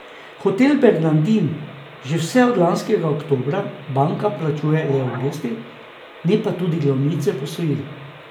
Hoteli Bernardin že vse od lanskega oktobra bankam plačujejo le obresti, ne pa tudi glavnice posojil.